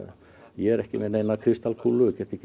ég er ekki með neina kristalskúlu og get ekki